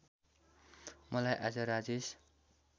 मलाई आज राजेश